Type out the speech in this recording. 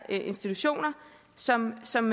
institutioner som som